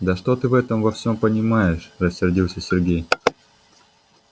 да что ты в этом во всём понимаешь рассердился сергей